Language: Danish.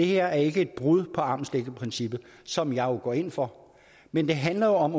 her ikke er et brud på armslængdeprincippet som jeg jo går ind for men det handler om